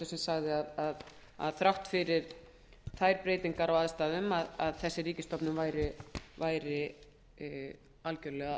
sem sagði að þrátt fyrir þær breytingar á aðstæðum væri þessi ríkisstofnun algjörlega